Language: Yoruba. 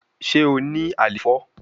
Ṣe o ni àléfọ?